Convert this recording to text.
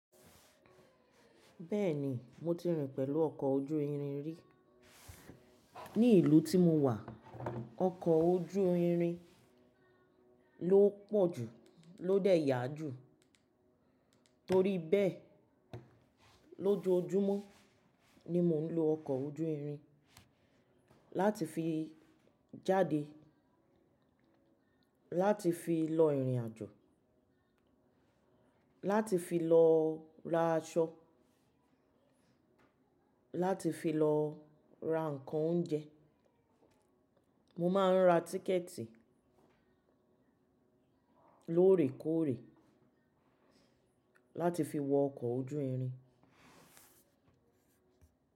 Bẹ́ẹ̀ni mo ti rìn pẹ̀lú ọkọ̀ ojú irin rí. Ní ìlú tí mo wà, ọkọ̀ ojú irin ló pọ̀ jù ló dé yà jù. Torí bẹ́ẹ̀, lójoojúmọ́ ni mo ń lo ọkọ̀ ojú irin láti fi jáde, láti fi lọ ìrìnàjò, láti fi lọ ra aṣọ, láti fi lọ ra ǹkan oúnjẹ. Mo máa ń ra tíkẹ̀ẹ̀tì lóòrèkóòrè láti fi wọ ọkọ̀ ojú irin.